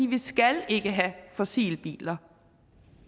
vi skal ikke have fossile biler